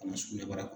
Ka na sugunɛbara kɔnɔ